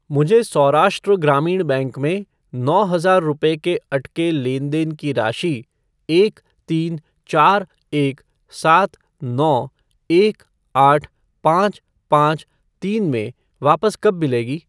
मुझे सौराष्ट्र ग्रामीण बैंक में नौ हजार रुपये के अटके लेनदेन की राशि एक तीन चार एक सात नौ एक आठ पाँच पाँच तीन में वापस कब मिलेगी?